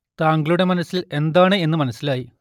താങ്കളുടെ മനസ്സിൽ എന്താണ് എന്ന് മനസ്സിലായി